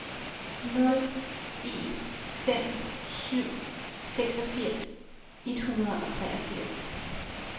nul en fem syv seksogfirs et hundrede og treogfirs